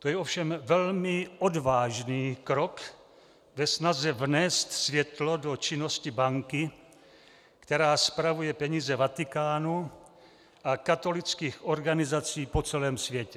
To je ovšem velmi odvážný krok ve snaze vnést světlo do činnosti banky, která spravuje peníze Vatikánu a katolických organizací po celém světě.